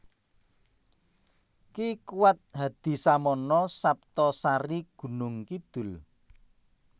Ki Kuwat Hadisamono Saptosari Gunungkidul